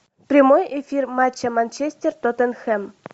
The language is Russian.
прямой эфир матча манчестер тоттенхэм